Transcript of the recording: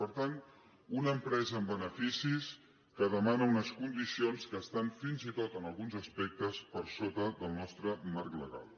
per tant una empresa amb beneficis que demana unes condiciones que estan fins i tot en alguns aspectes per sota del nostre marc legal